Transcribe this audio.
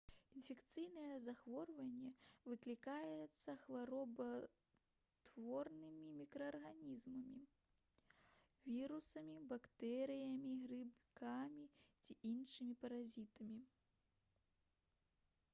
інфекцыйнае захворванне выклікаецца хваробатворнымі мікраарганізмамі вірусамі бактэрыямі грыбкамі ці іншымі паразітамі